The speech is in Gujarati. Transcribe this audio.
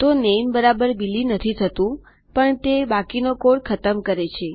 તો નામે બિલી નથી થતુંપણ તે બાકીનો કોડ ખતમ કરે છે